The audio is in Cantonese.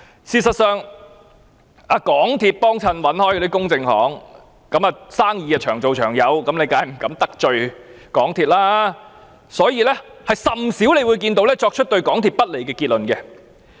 事實上，那些一貫由港鐵公司聘用的公證行，生意長做長有，當然不敢得罪港鐵公司，所以甚少見到它們作出對港鐵公司不利的結論。